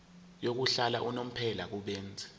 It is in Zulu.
yokuhlala unomphela kubenzi